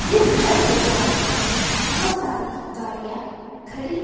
इस घर के सामने बहुत सारी गाड़ियां खड़ी--